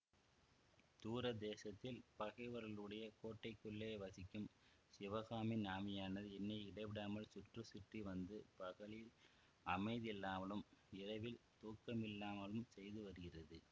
தூர தேசத்தில் பகைவர்களுடைய கோட்டைக்குள்ளே வசிக்கும் சிவகாமியின் ஆவியானது என்னை இடைவிடாமல் சுற்றி சுற்றி வந்து பகலில் அமைதியில்லாமலும் இரவில் தூக்கமில்லாமலும் செய்து வருகிறது